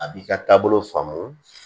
A b'i ka taabolo faamu